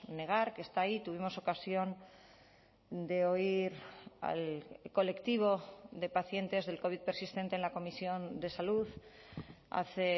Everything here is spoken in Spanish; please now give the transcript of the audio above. negar que está ahí tuvimos ocasión de oír al colectivo de pacientes del covid persistente en la comisión de salud hace